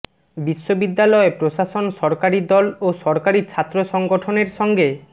বিশ্ববিদ্যালয় প্রশাসন সরকারি দল ও সরকারি ছাত্র সংগঠনের সঙ্গে